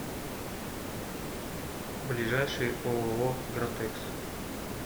ближайший ооо гратекс